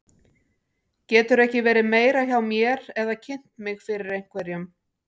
Geturðu ekki verið meira hjá mér eða kynnt mig fyrir einhverjum.